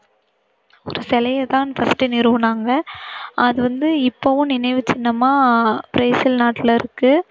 ஒரு சிலையைத் தான் first நிறுவினாங்க. அது வந்து இப்பவும் நினைவு சின்னமா பிரேசில் நாட்டுல இருக்கு.